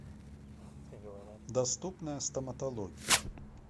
доступная стоматология